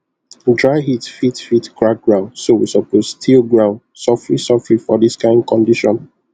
dry heat fit fit crack ground so we suppose till ground sofri sofri for dis kain condition